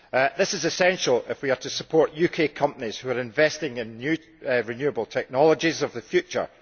This is essential if we are to support UK companies who are investing in renewable technologies of the future.